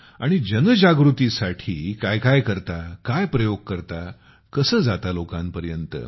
आणि जागृतीसाठी साठी काय काय करता काय प्रयोग करता कसे जाता लोकांपर्यंत